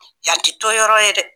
Yan tɛ to yɔrɔ ye dɛ.